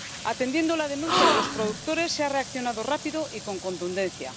Atendiendo a la denuncia de los productores, se ha reaccionado rápido y con contundencia.